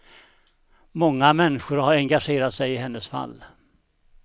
Många människor har engagerat sig i hennes fall.